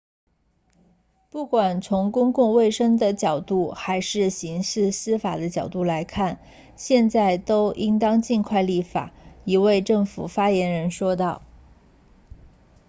不管是从公共卫生的角度还是刑事司法的角度来看现在都应当尽快立法一位政府发言人说道